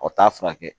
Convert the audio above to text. O t'a furakɛ